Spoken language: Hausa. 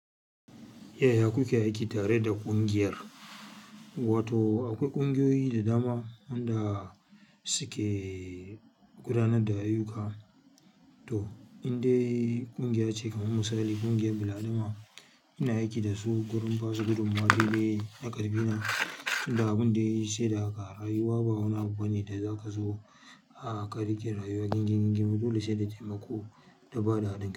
Yaya kuke aiki tare da ƙungiyar, wato akwai ƙungiyoyi da dama wanda suke gudanar da ayyuka. To indai ƙungiya ce kamar misali ƙungiyar Bil Adama, ina aiki da su gurin basu gudummawa daidai na ƙarfi na. Inda abun dai sai da haka rayuwa ba wani abu bane da za ka zo a ka rike rayuwa gingin gim, dole sai da taimako da bada haɗin kai.